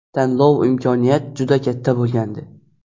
Tanlov imkoniyat juda katta bo‘lgandi.